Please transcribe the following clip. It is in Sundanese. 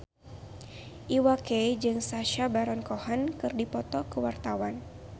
Iwa K jeung Sacha Baron Cohen keur dipoto ku wartawan